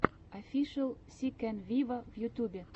офишел си кэн виво в ютьюбе